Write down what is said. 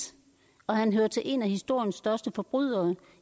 han hører til en af historiens største forbrydere